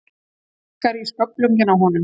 Sparkar í sköflunginn á honum.